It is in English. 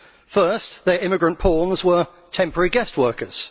First, their immigrant pawns were temporary guest workers